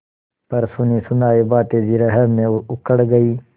पर सुनीसुनायी बातें जिरह में उखड़ गयीं